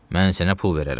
Mən sənə pul verərəm.